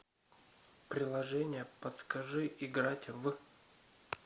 приложение подскажи играть в